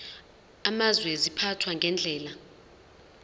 amazwe ziphathwa ngendlela